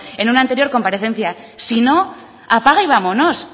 en una anterior comparecencia si no apaga y vámonos